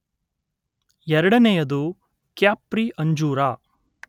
ಎರಡನೆಯದು ಕ್ಯಾಪ್ರಿ ಅಂಜೂರ